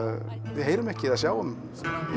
við heyrum ekki eða sjáum